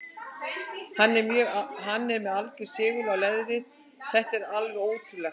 Hann er með algjöran segul á leðrið, þetta er alveg ótrúlegt.